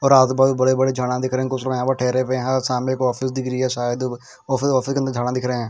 और आजुबाजु बड़े बड़े झाड़ा दिख रहे है कुछ लोग यहाँ पर ठहरे हुए है और सामने एक ऑफिस दिख रही है शायद ऑफिस ऑफिस में झाड़ा दिख रहे है.